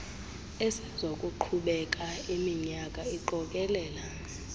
esezakuqhubeka iiminyaka iqokelela